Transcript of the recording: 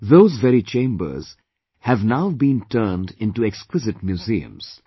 Those very chambers have now been turned into exquisite museums